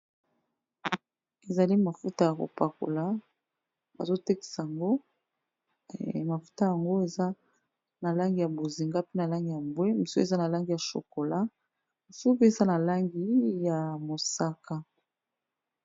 Ezali mafuta ya kopakola bazo tekisa yango. Mafuta yango eza na langi ya bozinga, mpe na langi ya mbwe, mosusu eza na langi ya chokolat, mosusu eza na langi ya mosaka.